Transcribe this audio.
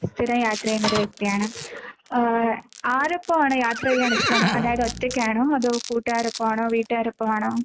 സ്ഥിരം യാത്ര ചെയ്യുന്ന ഒരു വ്യക്തിയാണ്. ആഹ് ആരൊപ്പാണ് യാത്ര ചെയ്യാൻ ഇഷ്ടം? അതായത് ഒറ്റക്കാണോ കൂട്ടുകാരോടൊപ്പമാണോ വീട്ടുകാരെ ഒപ്പമാണോ?